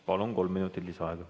Palun, kolm minutit lisaaega!